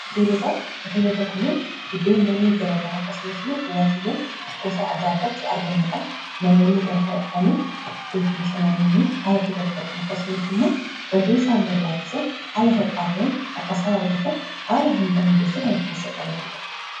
hoteelota kuniin iddoonyaanni gara gara akkasumas immoo dhuwwaatiiwwan bosaa adda addaatti argamadhaa namoonni gara kana dhufanii iddooti bashanamiinii haalatti galfatan akkasumasi immoo wantootaisaan barbaatisan haalata phaatreen akkasaan argatan haala hundaa mijeessee kanaf keessa qabatuudha